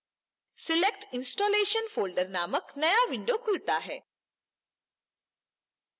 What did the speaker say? select installation folder named नया window खुलता है